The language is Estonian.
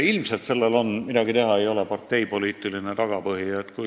Ilmselt sellel on, midagi teha ei ole, parteipoliitiline tagapõhi.